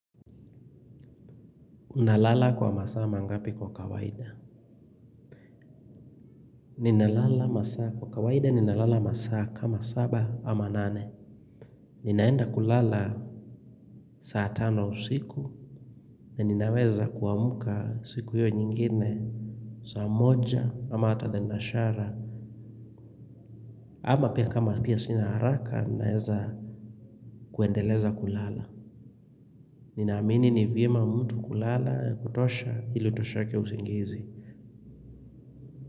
Nalala kwa masaa mangapi kwa kawaida? Ninalala masama kwa kawaida ninalala masama kama saba ama nane. Ninaenda kulala saa tano usiku na ninaweza kuamka siku hiyo nyingine saa moja ama hata naenda shara. Ama pia kama pia sina haraka ninaweza kuendeleza kulala. Ninaamini ni vyema mtu kulalakutosha ili utosheke usingizi.